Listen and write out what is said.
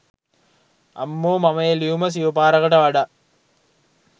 අම්මෝ මම ඒ ලියුම සිය පාරකට වඩා